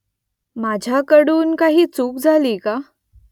माझ्याकडून काही चूक झाली का ?